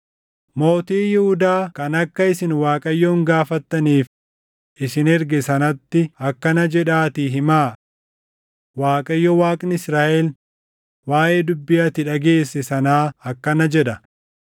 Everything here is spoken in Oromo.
Mootii Yihuudaa kan akka isin Waaqayyoon gaafattaniif isin erge sanatti akkana jedhaatii himaa; ‘ Waaqayyo Waaqni Israaʼel waaʼee dubbii ati dhageesse sanaa akkana jedha: